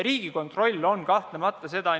Riigikontroll kahtlemata seda on.